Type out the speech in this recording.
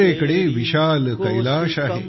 उत्तरेकडे विशाल कैलाश आहे